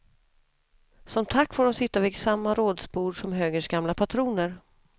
Som tack får de sitta vid samma rådsbord som högerns gamla patroner.